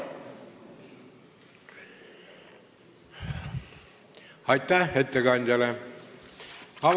Aitäh ettekandjale!